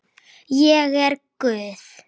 Ég er guð.